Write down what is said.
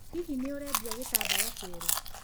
Hihi nĩ ũrendia gĩtambaya kĩerũ?